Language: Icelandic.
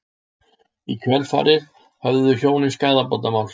Í kjölfarið höfðuðu hjónin skaðabótamál